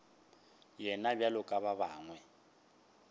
yena bjalo ka ba bangwe